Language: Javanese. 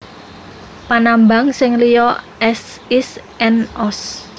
Panambang sing liya az is and oz